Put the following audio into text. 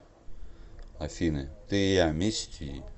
афина ты и я мисти